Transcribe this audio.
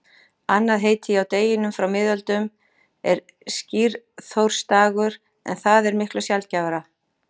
Annað heiti á deginum frá miðöldum er skíriþórsdagur en það er miklu sjaldgæfara.